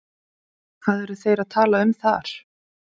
Þórhallur: Hvað eru þeir að tala um þar?